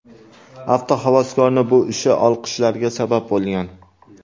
Avtohavaskorning bu ishi olqishlarga sabab bo‘lgan.